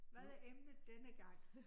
Hvad er emnet denne gang?